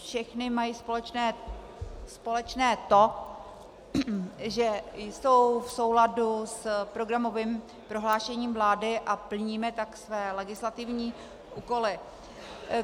Všechny mají společné to, že jsou v souladu s programovým prohlášením vlády, a plníme tak své legislativní úkoly.